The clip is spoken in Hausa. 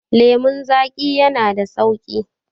lemon zaƙi yana da sauƙi